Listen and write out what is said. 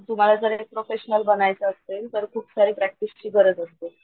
तुम्हाला जर प्रोफेशनल बनायचं असेल तर खूप सारी प्रॅक्टिस ची गरज असते.